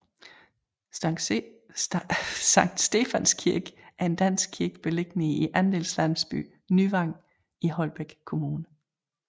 Sankt Stefans Kirken er en dansk kirke beliggende i andelslandsbyen Nyvang i Holbæk Kommune